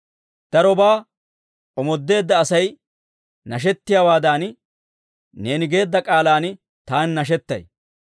Darobaa omoodeedda Asay nashettiyaawaadan, neeni geedda k'aalan taani nashetay.